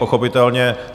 Pochopitelně...